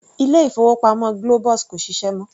Ilé-ìfowópamọ́ Globus kò ṣiṣẹ́ mọ́.